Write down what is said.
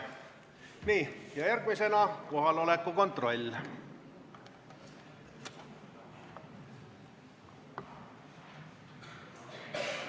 Järgmisena kohaloleku kontroll.